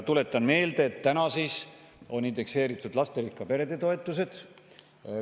Tuletan meelde, et täna on indekseeritud lasterikka pere toetus.